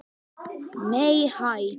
Nei hæ!